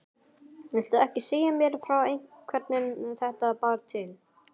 Viltu ekki segja mér frá hvernig þetta bar til?